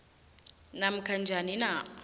namkha njani na